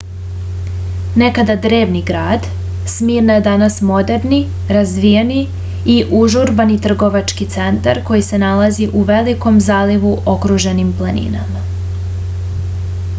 nekada drevni grad smirna je danas moderni razvijeni i užurbani trgovački centar koji je nalazi u velikom zalivu okruženim planinama